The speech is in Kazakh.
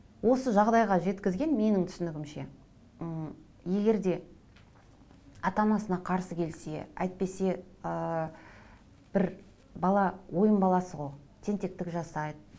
осы жағдайға жеткізген менің түсінігімше м егер де ата анасына қарсы келсе әйтпесе ыыы бір бала ойын баласы ғой тентектік жасайды